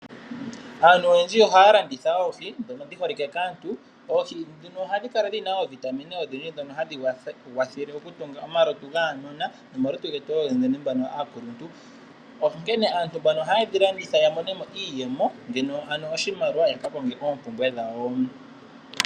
Aantu oyendji ohaya landitha oohi dhono dhi holike kaantu. Oohi dhino ohadhi kala dhina ooVitamine odhindji dhono hadhi kwathele okutunga omalutu gaanona, nomalutu getu wo unene mboka aakuluntu. Onkene aantu mbono ohaye dhi landitha ya mone mo, iiyemo. Mbyono ano oshimaliwa, ya ka konge oompumbwe dhawo.